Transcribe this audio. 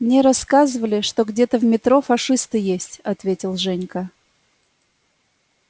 мне рассказывали что где-то в метро фашисты есть ответил женька